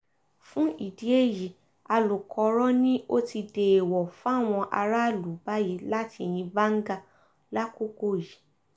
fún ìdí èyí alukoro ni ó ti dẹẹwọ́ fáwọn aráàlú báyìí láti yín báńgá lákòókò yìí